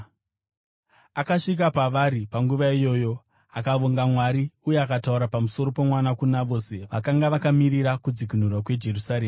Akasvika pavari panguva iyoyo, akavonga Mwari uye akataura pamusoro pomwana kuna vose vakanga vakamirira kudzikinurwa kweJerusarema.